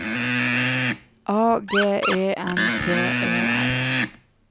A G E N T E R